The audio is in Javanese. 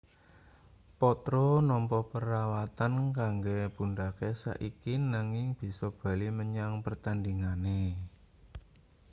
potro nampa perawatan kanggo pundhake saiki nanging bisa bali menyang pertandhingane